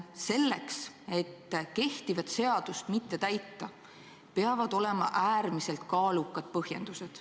Selleks, et kehtivat seadust mitte täita, peavad olema äärmiselt kaalukad põhjendused.